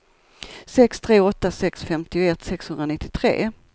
sex tre åtta sex femtioett sexhundranittiotre